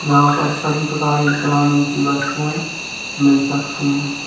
यहां पर सभी प्रकार की किराने की वस्तुएं मिल सकती हैं।